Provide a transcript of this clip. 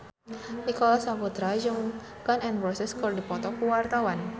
Nicholas Saputra jeung Gun N Roses keur dipoto ku wartawan